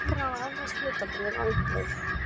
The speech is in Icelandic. Evra og evrópsk hlutabréf á uppleið